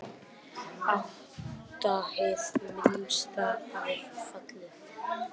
Átta hið minnsta hafa fallið.